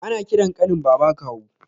Ana ƙiran ƙanin baba kawu